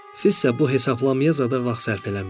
Sizsə bu hesablamaya zada vaxt sərf eləməyin.